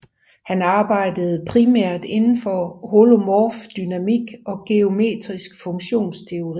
Han arbejdede primært indenfor holomorf dynamikk og geometrisk funktionsteori